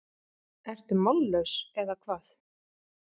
Ertu mállaus, eða hvað?